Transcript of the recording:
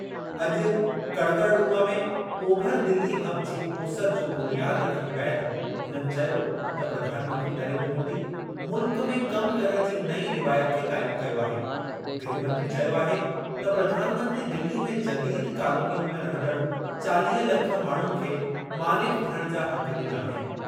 अॼु कड़कड़डूमा में over Delhi hub जी ओसरि जो बुनियाद रखणु बैदि हुननि चयो त प्रधानमंत्री नरेन्द्र मोदी मुल्क में कम करणु जी नईं रिवायत खे क़ाइम कयो आहे गृहमंत्री चयो आहे त प्रधानमंत्री दिल्ली में जदीद कालोनियुनि में रहंदड़ चालीह लख माण्हुनि खे मालिक थियणु जा हक़ डि॒ना आहिनि।